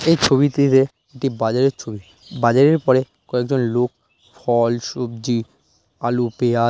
এই ছবিটিতে একটি বাজারের ছবি বাজারের পরে কয়েকজন লোক ফল সবজি আলু পিয়া --